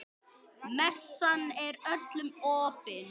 Messan er öllum opin.